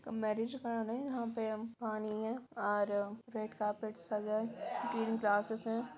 एक मैरेज कराने यहाँ पे हम पानी हैं और रेड कार्पेट सजा हैं ग्रीन ग्रासेस हैं।